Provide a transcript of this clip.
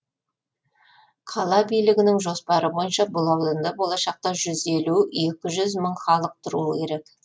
қала билігінің жоспары бойынша бұл ауданда болашақта жүз елу екі жүз мың халық тұруы керек